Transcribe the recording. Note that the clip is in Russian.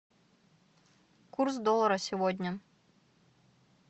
курс доллара сегодня